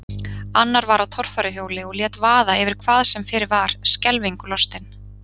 Annar var á torfæruhjóli og lét vaða yfir hvað sem fyrir var, skelfingu lostinn.